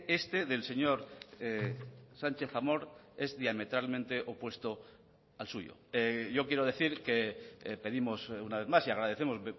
este del señor sánchez amor es diametralmente opuesto al suyo yo quiero decir que pedimos una vez más y agradecemos